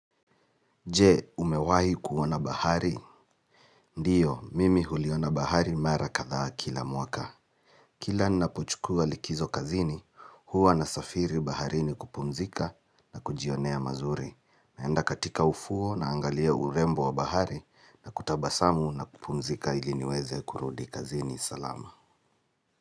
Je, umewahi kuona bahari? Ndiyo, mimi huliona bahari mara kadha kila mwaka. Kila ninapochukua likizo kazini, huwa nasafiri baharini kupumzika na kujionea mazuri. Naenda katika ufuo naangalia urembo wa bahari na kutabasamu na kupumzika ili niweze kurudi kazini. Salama.